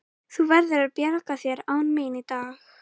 Þú verður að bjarga þér án mín í dag.